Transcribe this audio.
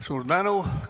Suur tänu!